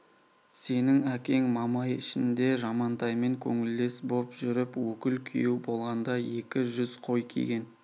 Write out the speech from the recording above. сенің әкең мамай ішінде жамантаймен көңілдес боп жүріп өкіл күйеу болғанда екі жүз қой киген